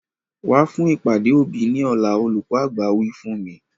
Wa fún ìpàdé òbí ni ọ̀la! Olùkọ́ àgbà wí fún mi.